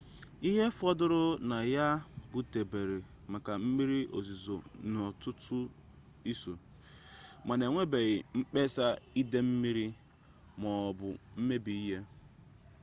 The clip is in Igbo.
ihe fọdụrụ na ya butere maka mmiri ozizo n'ọtụtụ isuo mana enwebeghị mkpesa ide mmiri m'ọbụ mmebi ihe